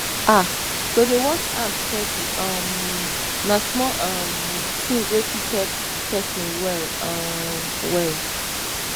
ah to dey wash hand steady um na small um thing wey fit help person well um well